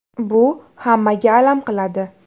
Bu hammaga alam qiladi.